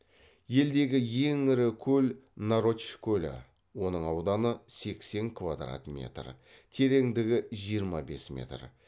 елдегі ең ірі көл нарочь көлі оның ауданы сексен квадрат метр тереңдігі жиырма бес метр